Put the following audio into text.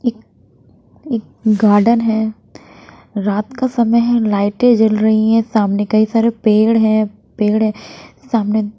एक एक गार्डन है रात का समय है लाईटें जल रही हैं सामने कई सारे पेड़ हैं पेड़ हैं सामने --